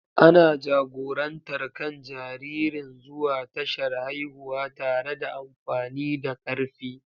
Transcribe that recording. Ana jagorantar kan jaririn zuwa tashar haihuwa tare da amfani da karfi.